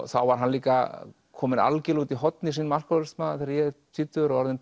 þá var hann líka kominn algjörlega út í horn í sínum alkóhólisma þegar ég er tvítugur og orðinn